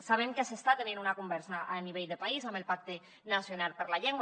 sabem que s’està tenint una conversa a nivell de país amb el pacte nacional per la llengua